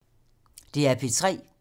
DR P3